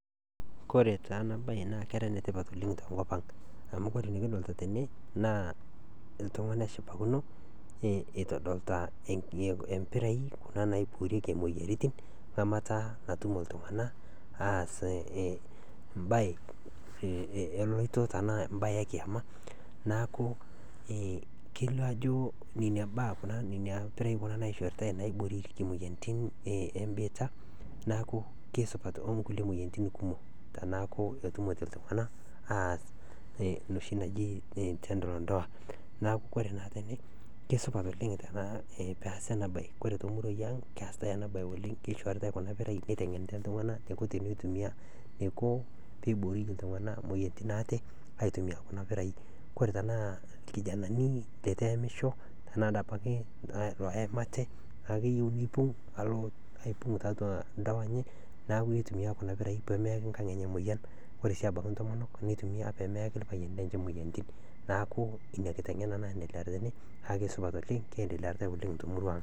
Kesidai oleng enchorota nachor ngotenye nkerai amu kore naa nkerai keyeu, kore sesen le nkerai kenana naa kekumok nyamaliritin naatum. Kore taa iltikana otiuaa ilmaasae otiuwaa ilo tokitin oojing looshori ,oojing nkejek nejing nkaik, nejing' sunta, naaku kore ngotonye nenare pootum atoshora nkerai enye ,atoshora nkaik, atoshora nkejek, neshor nkoriong ,neshor ndapi oonkejek, weji pooki, neel akinyi, kore peel newen achor, achor, achor sesen pooki, naa kesupat naa nkerai osesen, meitoki atum nenai moyaritin, meitoki atum lelo kutiti iltikana, meitoki atum lelo kutiti ooshori, naa inakata naa esupatu nkerai osesen, naaku kesupat oleng teneshor ngotenye nkerai awen ale ashorchor ewen era kinyi, naaku kore abaki echor ngotenye naa kejingaro ninye o kerai enye . Kore ina nachor nkera enye naa kesham nkerai amu kore sesen le nkerai keyeu ninye neitaasi neitomoki nchorota ake iyie amu keewen naa enana, naa inyakata egolu loik nesupatu.